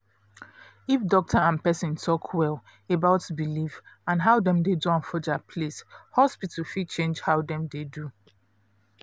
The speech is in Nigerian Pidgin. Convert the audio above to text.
if doctor and person talk well about belief and how dem dey do for dia place hospital fit change how dem dey do